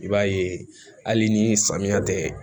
I b'a ye hali ni samiya tɛ